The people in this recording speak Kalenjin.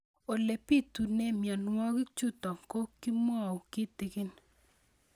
Ole pitune mionwek chutok ko kimwau kitig'ín